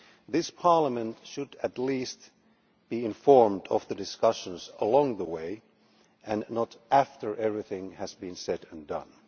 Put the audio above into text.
This Parliament should, at the least, be informed of the discussions along the way, and not after everything has been said and done.